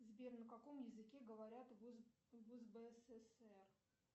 сбер на каком языке говорят в узбсср